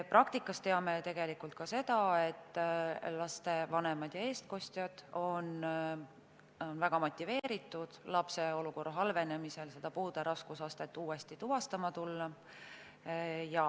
Praktikas teame ka seda, et laste vanemad ja eestkostjad on väga motiveeritud lapse olukorra halvenemise korral puude raskusastet uuesti tuvastama tulema.